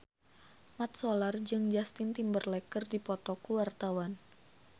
Mat Solar jeung Justin Timberlake keur dipoto ku wartawan